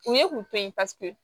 U ye kun to ye paseke